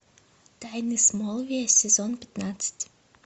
тайны смолвиля сезон пятнадцать